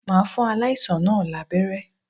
Màá fún aláìsàn náà lábẹ́ré